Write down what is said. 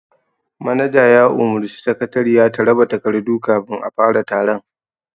Manaja ya umurci sakatariya ta raba takardu kafin a fara taron